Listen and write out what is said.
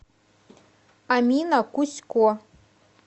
амина кусько